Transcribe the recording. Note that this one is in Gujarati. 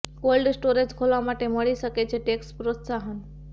કોલ્ડ સ્ટોરેજ ખોલવા માટે મળી શકે છે ટેક્સ પ્રોત્સાહન